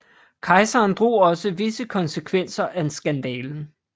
Kejseren drog også visse konsekvenser af skandalen